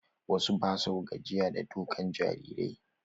Wasu ba sua gajiya da ɗaukan jarirai.